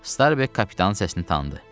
Starbek kapitanın səsini tanıdı.